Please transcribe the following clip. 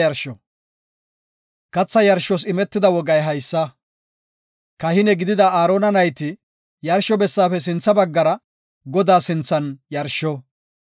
Katha yarshos imetida wogay haysa; kahine gidida Aarona nayti yarsho bessaafe sintha baggara Godaa sinthan yarsho.